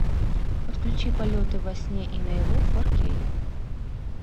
подключи полеты во сне и наяву фор кей